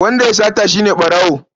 Wanda ya yi sata shi ne ɓarawo.